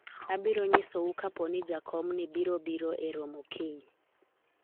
abiro nyisou kapo ni jakomni biro biro e romo kiny